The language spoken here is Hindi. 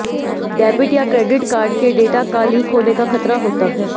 डेबिट या क्रेडिट कार्ड के डेटा का लीक होने का खतरा होता है